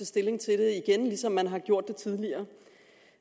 stilling til det igen ligesom man har gjort det tidligere